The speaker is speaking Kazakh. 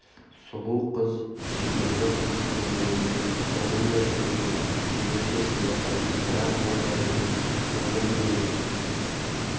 сұлу қыз сүйкімді қылық көргенде оның да жүрегін ерекше сыздататын бір-ақ жан бар еді оның өзі